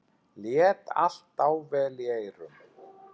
Lét allt dável í eyrum.